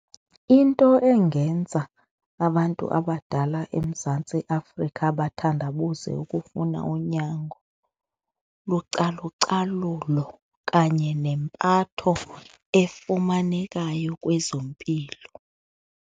Into engenza abantu abadala eMzantsi Afrika bathandabuze ukufuna unyango lucalucalulo kanye nempatho efumanekayo kwezempilo.